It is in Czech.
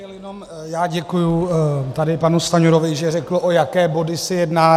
Já děkuji tady panu Stanjurovi, že řekl, o jaké body se jedná.